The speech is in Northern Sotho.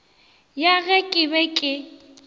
ya ge ke be ke